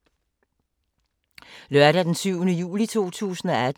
Lørdag d. 7. juli 2018